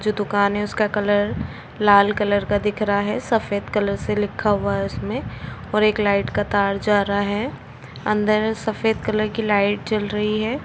जो दुकान है उसका कलर लाल कलर का दिख रहा है सफेद कलर से लिखा हुआ है उसमें और एक लाइट का तार जा रहा है अन्दर सफेद कलर की लाइट जल रही है।